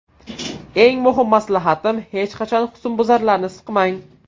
Eng muhim maslahatim hech qachon husnbuzarlarni siqmang!